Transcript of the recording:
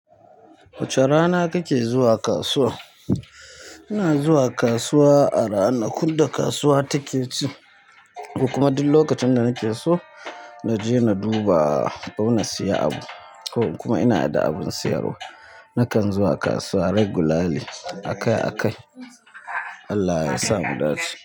Wace rana kake zuwa kasuwa? Ina zuwa kasuwa a rana. Kur da kasuwa take ci kuma dul lokacin da nake so na je na duba ko na siya abu kawai in kuma ina da abin siyarwa. Nakan zuwa kasuwa regularly akai-akai. Allah ya sa mu dace.